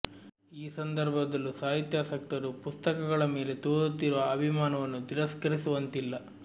ಈ ಸಂದರ್ಭದಲ್ಲೂ ಸಾಹಿತ್ಯಾಸಕ್ತರು ಪುಸ್ತಕ ಗಳ ಮೇಲೆ ತೋರುತ್ತಿರುವ ಅಭಿಮಾನವನ್ನು ತಿರಸ್ಕರಿಸುವಂತಿಲ್ಲ